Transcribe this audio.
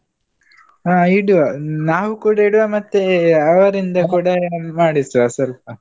ಹ ಇಡುವ, ನಾವ್ ಕೂಡ ಇಡುವ ಮತ್ತೆ ಅವರಿಂದ ಕೂಡ ಏನಾದ್ರು ಮಾಡಿಸುವ ಸ್ವಲ್ಪ.